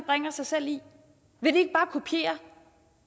bringer sig selv i vil